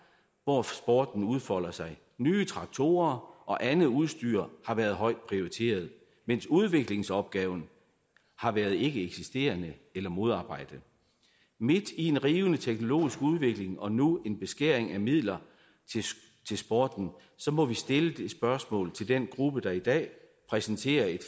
hvor sporten udfolder sig ny traktorer og andet udstyr har været højt prioriteret mens udviklingsopgaven har været ikkeeksisterende eller modarbejdet midt i en rivende teknologisk udvikling og nu beskæring af midler til sporten må vi stille det spørgsmål til den gruppe der i dag præsenterer et